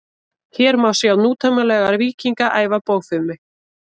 hér má sjá nútímalega „víkinga“ æfa bogfimi